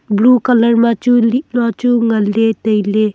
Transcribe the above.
blue colour ma chu lih ma chu ngan le taile.